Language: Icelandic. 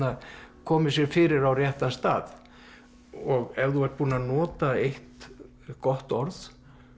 komi sér fyrir á réttan stað ef þú ert búinn að nota eitt gott orð